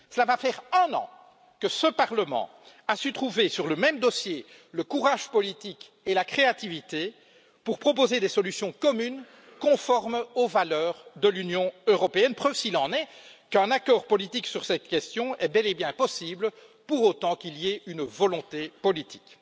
Cela va faire un an que ce Parlement a su trouver, sur le même dossier, le courage politique et la créativité pour proposer des solutions communes conformes aux valeurs de l'Union européenne, preuve s'il en est qu'un accord politique sur cette question est bel et bien possible pour autant qu'il y ait une volonté politique.